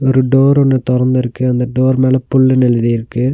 ஒரு டோர் ஒன்னு தொரந்துருக்கு அந்த டோர் மேல புல்லுன்னு எழுதிருக்கு.